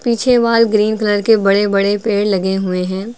पीछे wall green colour के बड़े बड़े पेड़ लगे हुए हैं।